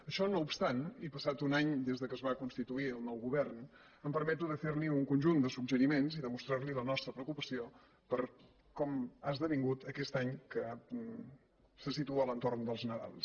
això no obstant i passat un any des que es va constituir el nou govern em permeto de fer li un conjunt de suggeriments i de mostrar li la nostra preocupació per com ha esdevingut aquest any que se situa a l’entorn dels nadals